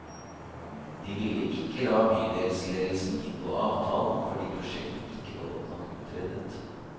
De ville ikke la bydelsledelsen inngå avtalen fordi prosjektet ikke var godt nok utredet.